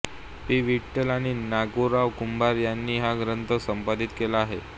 P Vitthal आणि नागोराव कुंभार यांनी हा ग्रंथ संपादित केला आहे